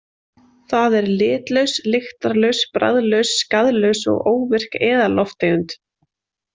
Það er litlaus, lyktarlaus, bragðlaus, skaðlaus og óvirk eðallofttegund.